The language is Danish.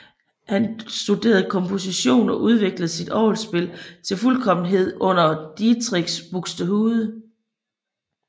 Han studerede komposition og udviklede sit orgelspil til fuldkommenhed under Dietrich Buxtehude